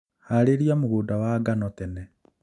Harĩria mũgũnda wa ngano tene